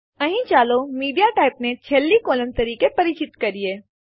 અહીં ચાલો મીડિયાટાઇપ ને છેલ્લી કોલમ તરીકે પરિચિત કરીએ